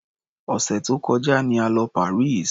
Òsẹ̀ tó kọjá ni a lọ Paris.